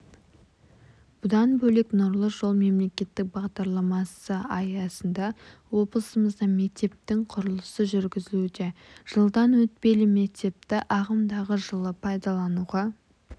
бұдан бөлек нұрлы жол мемлекеттік бағдарламасы аясында облысымызда мектептің құрылысыжүргізілуде жылдан өтпелі мектепті ағымдағы жылы пайдалануға